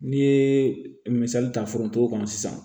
N'i ye misali ta foronto kɔnɔ sisan